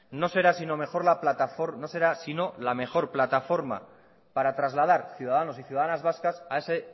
no será si no la mejor plataforma para trasladar ciudadanos y ciudadanas vascas a ese